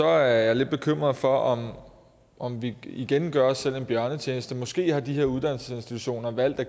er jeg lidt bekymret for om om vi igen gør os selv en bjørnetjeneste måske har de her uddannelsesinstitutioner valgt